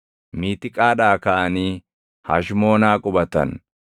Miitiqaadhaa kaʼanii Hashmoonaa qubatan.